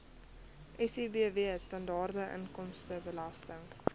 sibw standaard inkomstebelasting